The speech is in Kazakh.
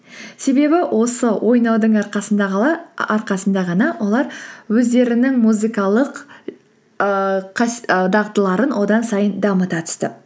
себебі осы ойнаудың арқасында ғана олар өздерінің музыкалық ііі ііі дағдыларын одан сайын дамыта түсті